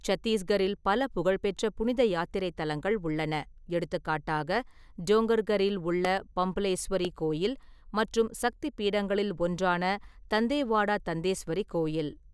சத்தீஸ்கரில் பல புகழ்பெற்ற புனித யாத்திரைத் தலங்கள் உள்ளன, எடுத்துக்காட்டாக டோங்கர்கரில் உள்ள பம்ப்லேஸ்வரி கோயில் மற்றும் சக்தி பீடங்களில் ஒன்றான தந்தேவாடா தந்தேஸ்வரி கோயில்.